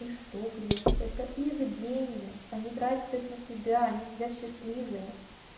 и что блять это их деньги они тратят их на себя они сидят счастливые